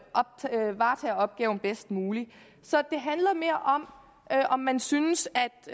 opgaven bedst muligt så det handler mere om om man synes